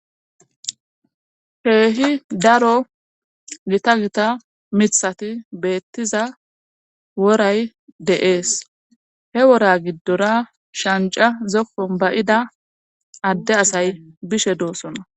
Heehi daro gita gita mithati beettiza woray de7ees he wora giddora shanca zokkon bayida adde asay bishe doosona